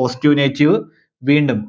Positive negative വീണ്ടും